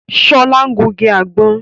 Sola ń gungi àgbọ̀n